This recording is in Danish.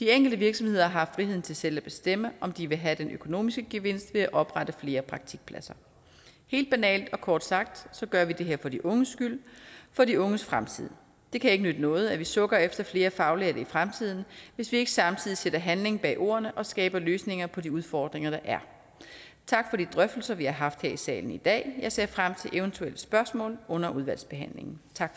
de enkelte virksomheder har friheden til selv at bestemme om de vil have den økonomiske gevinst ved at oprette flere praktikpladser helt banalt og kort sagt gør vi det her for de unges skyld for de unges fremtid det kan ikke nytte noget at vi sukker efter flere faglærte i fremtiden hvis vi ikke samtidig sætter handling bag ordene og skaber løsninger på de udfordringer der er tak for de drøftelser vi har haft her i salen i dag jeg ser frem til eventuelle spørgsmål under udvalgsbehandlingen tak